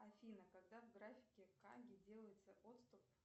афина когда в графике каги делается отступ